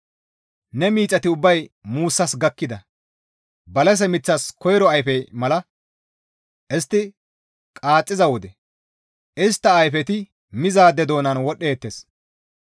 Ne miixati ubbay muussas gakkida balase miththas koyro ayfe mala; istti qaaxxiza wode istta ayfeti mizaade doonan wodhdheettes.